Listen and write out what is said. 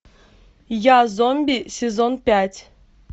я зомби сезон пять